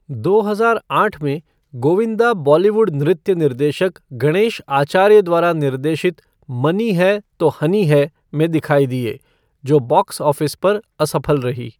दो हजार आठ में, गोविंदा बॉलीवुड नृत्य निर्देशक गणेश आचार्य द्वारा निर्देशित 'मनी है तो हनी है' में दिखाई दिए, जो बॉक्स ऑफ़िस पर असफल रही।